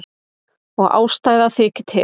Og ástæða þykir til.